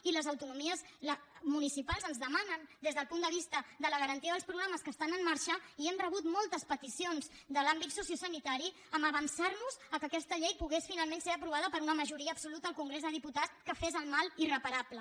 i les autonomies municipals ens demanen des del punt de vista de la garantia dels programes que estan en marxa i hem rebut moltes peticions de l’àmbit sociosanitari per avançar nos al fet que aquesta llei pogués finalment ser aprovada per una majoria absoluta al congrés dels diputats que fes el mal irreparable